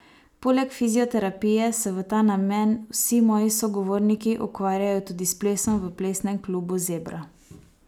Poleg fizioterapije se v ta namen vsi moji sogovorniki ukvarjajo tudi s plesom v Plesnem klubu Zebra.